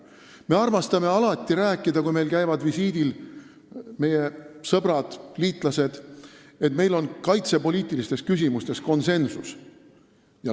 Me armastame alati rääkida, kui meil käivad visiidil meie sõbrad, liitlased, et meil on kaitsepoliitilistes küsimustes konsensus.